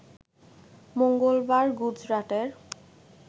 মঙ্গলবার গুজরাটের